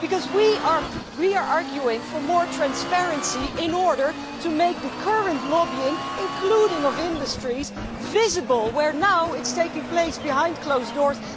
We are arguing for more transparency in order to make the current lobbying, including industries, visible where now it is taking place behind closed doors.